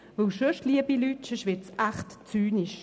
Denn sonst, liebe Leute, wird es echt zynisch.